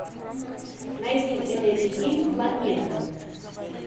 найти в инете фильм планеты